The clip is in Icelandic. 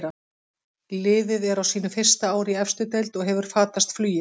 Liðið er á sínu fyrsta ári í efstu deild og hefur fatast flugið.